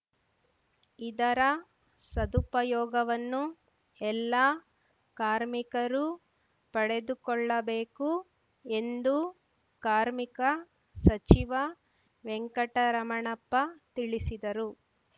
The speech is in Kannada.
ಇದರ ಸದುಪಯೋಗವನ್ನು ಎಲ್ಲಾ ಕಾರ್ಮಿಕರು ಪಡೆದುಕೊಳ್ಳಬೇಕು ಎಂದು ಕಾರ್ಮಿಕ ಸಚಿವ ವೆಂಕಟರಮಣಪ್ಪ ತಿಳಿಸಿದರು